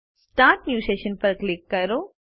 start new session ઉપર click કરો